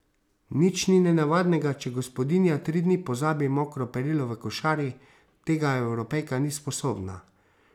Nič ni nenavadnega, če gospodinja tri dni pozabi mokro perilo v košari, tega Evropejka ni sposobna.